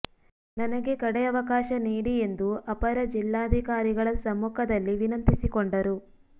ನನಗೆ ಕಡೆ ಅವಕಾಶ ನೀಡಿ ಎಂದು ಅಪರ ಜಿಲ್ಲಾಧಿಕಾರಿಗಳ ಸಮ್ಮುಖದಲ್ಲಿ ವಿನಂತಿಸಿಕೊಂಡರು